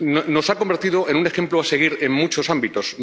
Nos ha convertido en un ejemplo a seguir en muchos ámbitos.